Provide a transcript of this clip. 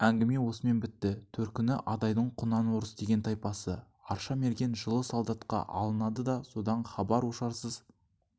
әңгіме осымен бітті төркіні адайдың құнанорыс деген тайпасы арша мерген жылы солдатқа алынады да содан хабар-ошарсыз